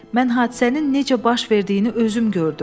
Mən hadisənin necə baş verdiyini özüm gördüm.